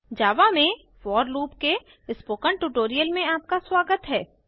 जावा में for loop के spoken tutorial में आपका स्वागत है